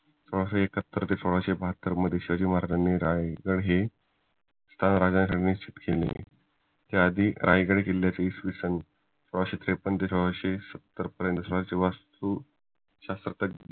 सोळाशे एकाहत्तर ते सोळाशे बहात्तर मध्ये शिवाजी महाराजांनी रायगड हे स्वतः काबीज केले त्याआधी रायगड किल्ल्याची इसवीसन सोळाशे त्रेपन्न ते सोळाशे सत्तर पर्यंत